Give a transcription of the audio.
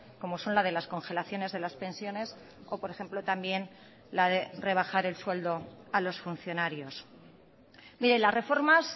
como son la de las congelaciones de las pensiones o por ejemplo también la de rebajar el sueldo a los funcionarios mire las reformas